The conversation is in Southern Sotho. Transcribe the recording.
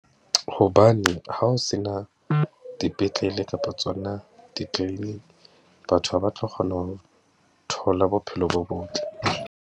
Hobane ha o se na dipetlele kapa tsona , batho ha ba tlo kgona ho thola bophelo bo botle.